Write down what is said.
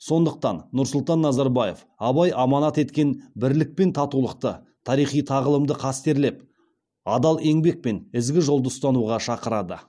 сондықтан нұрсұлтан назарбаев абай аманат еткен бірлік пен татулықты тарихи тағылымды қастерлеп адал еңбек пен ізгі жолды ұстануға шақырады